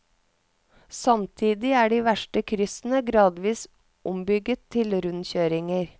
Samtidig er de verste kryssene gradvis ombygget til rundkjøringer.